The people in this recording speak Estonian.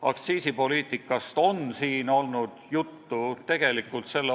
Aktsiisipoliitikast on juba juttu olnud.